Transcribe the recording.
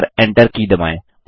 और Enter की दबाएँ